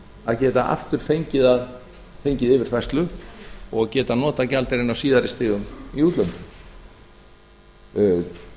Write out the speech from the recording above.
að geta aftur fengið yfirfærslu og geta notað gjaldeyrinn á síðari stigum í útlöndum